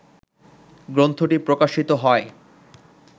গ্রন্থটি প্রকাশিত হয়